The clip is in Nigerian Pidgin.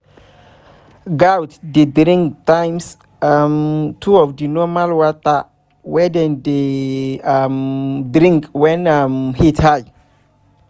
goats dey drink times um two of the normal water wey dem dey um drink wen um heat high